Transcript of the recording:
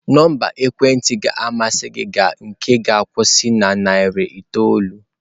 Nọmba ekwentị ga-amasị gị nke ga-akwusi na narị itoolu?